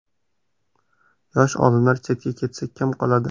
Yosh olimlar chetga ketsa kim qoladi?